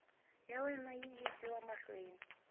ya wena yi yisiwa mahlweni